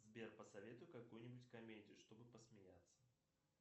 сбер посоветуй какую нибудь комедию чтобы посмеяться